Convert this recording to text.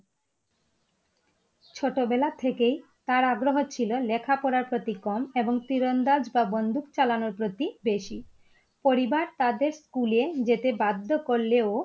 ছোটো বেলা থেকেই তার আগ্রহ ছিলো লেখা পড়ার প্রতি কম এবং তীরন্দাজ বা বন্দুক চালানো প্রতি বেশি । পরিবার তাদের স্কুলে যেতে বাধ্য করলেও!